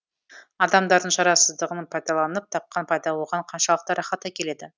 адамдардың шарасыздығын пайдаланып тапқан пайда оған қаншалықты рахат әкеледі